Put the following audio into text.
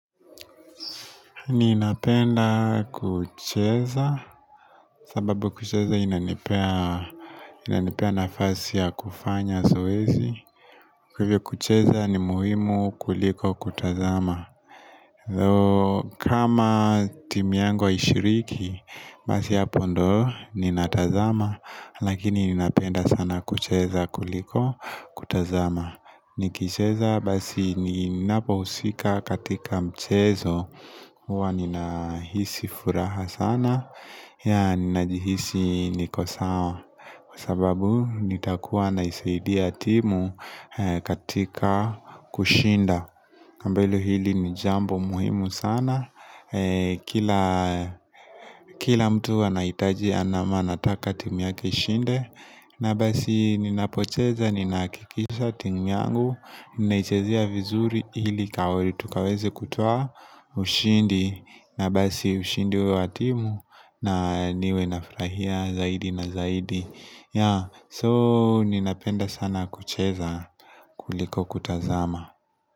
Ninapenda kucheza, sababu kucheza inanipea inanipea nafasi ya kufanya zoezi. Kwa hivyo kucheza ni muhimu kuliko kutazama. Oo kama timiangu aishiriki, basi hapo ndo, ninatazama. Lakini ninapenda sana kucheza kuliko kutazama. Nikicheza basi ninapo usika katika mchezo hua ninahisi furaha sana ya ninajihisi nikosawa Kwa sababu nitakuwa na isaidia timu katika kushinda Ambelu hili ni jambo muhimu sana kila Kila mtu anaitaji anama nataka timu yake ishinde na basi ninapocheza, ninaakikisha timu yangu Nnaichezea vizuri ili kawel tukaweze kutoa ushindi na basi ushindi huo watimu na niwe nafrahia zaidi na zaidi ya So ninapenda sana kucheza kuliko kutazama.